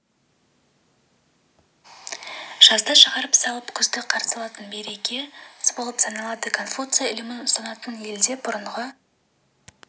жазды шығарып салып күзді қарсы алатын береке мерекесі болып саналады конфуций ілімін ұстанатын елде бұрынғы